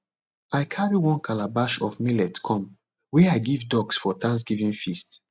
i carry one calabash of millet come wey i give ducks for thanksgiving feast